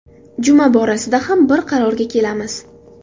Juma borasida ham bir qarorga kelamiz.